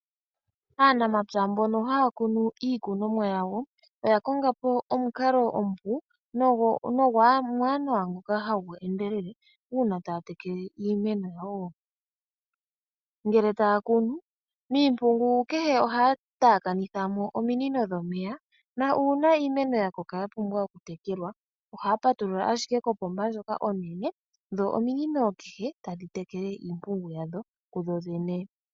Aanamapya mbono haya kunu iikunomwa yawo, oya konga po omukalo omupu nomwaanawa ngoka hagu endelele uuna taya tekele iimeno yawo. Ngele taya kunu miimpungu kehe ohaa taakanitha mo ominino dhomeya nuuna iimeno ya koka ya pumbwa okutekela ohaya patulula ashike kopomba ndjoka onene dho ominino kehe tadhi tekele iimpungu yadho.